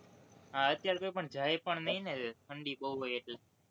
હમ અત્યારે કોઈ પણ જાય પણ નહિ ને ઠંડી બોવ હોય એટલે